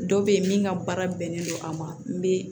Dɔ bɛ ye min ka baara bɛnnen don a ma n bɛ